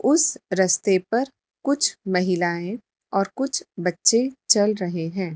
उस रास्ते पर कुछ महिलाएँ और कुछ बच्चे चल रहे हैं।